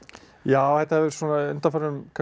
já á svona undanförnum